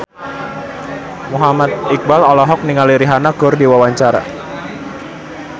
Muhammad Iqbal olohok ningali Rihanna keur diwawancara